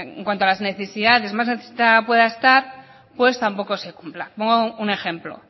en cuanto a las necesidades más necesitada pueda estar pues tampoco se cumpla pongo un ejemplo